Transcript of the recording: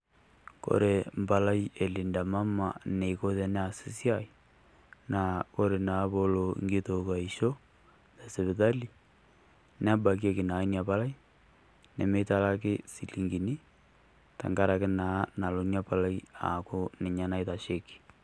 Kore empalai elinda Mama eneiko teneas esiai naa ore naa peelo eng'itok aisho tesipitali nebakieki naa Ina palai nemeitalaki enchilingini tengaraki naa elo ina palai aaku ninye naitasheiki.